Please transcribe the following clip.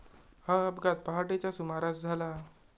हा अपघात पहाटेच्या सुमारास झाला.